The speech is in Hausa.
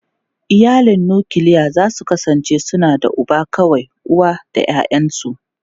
Iyalin nukiliya za su kasance suna da uba kawai, uwa da ’ya’yansu.